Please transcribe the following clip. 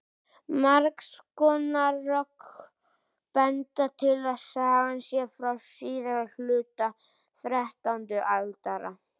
margs konar rök benda til að sagan sé frá síðari hluta þrettándu aldar